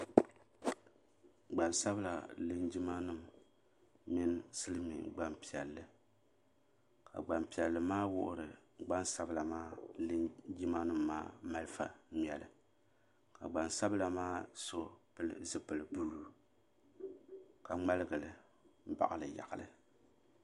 Gbansabila linjima nima mini Silimiin gbampiɛlli ka gbampiɛlli maa wuhiri gbansabla maa linjima nima maa malifa ŋmɛli ka gbansabla ma so pili zipili buluu ka ŋmaligi li baɣali yaɣali.